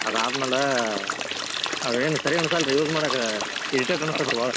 ಆದಾದ್ಮ್ಯಾಲೆ ಅವೆನ್ ಸರಿ ಅನ್ಸಲ್ ರೀ use ಮಾಡಾಕ irritate ಅನಿಸ್ತೇತ್ರಿ ಬಾಳ್.